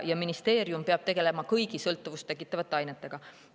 Ministeerium peab tegelema kõigi sõltuvust tekitavate ainetega.